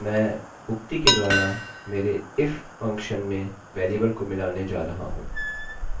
मैं उक्ति के द्वारा मेरे if function फलन में वेरिएबल को मिलाने जा रहा हूँ